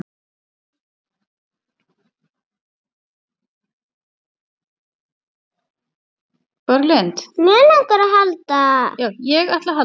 Lóa leit undan.